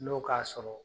N'o k'a sɔrɔ